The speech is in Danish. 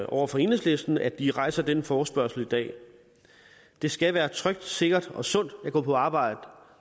over for enhedslisten for at de rejser denne forespørgsel i dag det skal være trygt sikkert og sundt at gå på arbejde